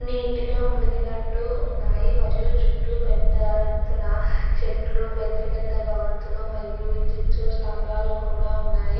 నీటితో ములీగినట్టు ఉన్నాయి మరియు చుట్టూ పెద్ద ఎత్తున చెట్లు పెద్ద పెద్ద భవంతులు మరియు విద్యుత్ స్తంభాలు కూడ ఉన్నాయి.